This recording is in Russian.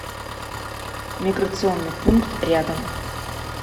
миграционный пункт рядом